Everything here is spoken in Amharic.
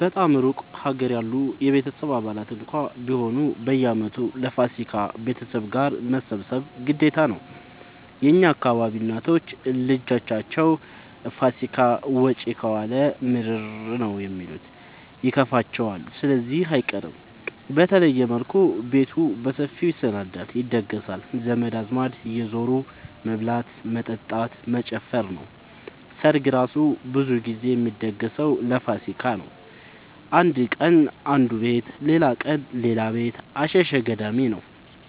በጣም እሩቅ ሀገር ያሉ የቤተሰብ አባላት እንኳን ቢሆኑ በየአመቱ ለፋሲካ ቤተሰብ ጋር መሰብሰብ ግዴታ ነው። የእኛ አካባቢ እናቶች ልጃቸው ፋሲካን ውጪ ከዋለ ምርር ነው የሚሉት ይከፋቸዋል ስለዚህ አይቀርም። በተለየ መልኩ ቤቱ በሰፊው ይሰናዳል(ይደገሳል) ዘመድ አዝማድ እየዙሩ መብላት መጠጣት መጨፈር ነው። ሰርግ እራሱ ብዙ ግዜ የሚደገሰው ለፋሲካ ነው። አንድ ቀን አነዱ ቤት ሌላቀን ሌላ ቤት አሸሸ ገዳሜ ነው።